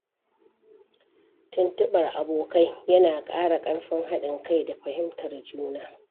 Tuntuɓar abokai yana ƙara ƙarfin haɗin kai da fahimtar juna.